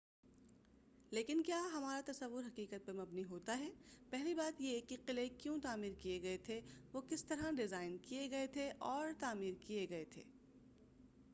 لیکن کیا ہمارا تصور حقیقت پر مبنی ہوتا ہے پہلی بات یہ کہ قلعے کیوں تعمیر کئے گئے تھے وہ کس طرح ڈیزائن کئے گئے اور تعمیر کئے گئے تھے